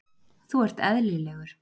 Þú ert eðlilegur.